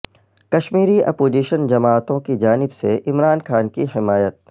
Kashmiri opposition جماعتوں کی جانب سے عمران خان کی حمایت